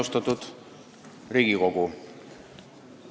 Austatud Riigikogu!